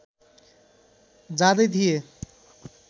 जाँदै थिए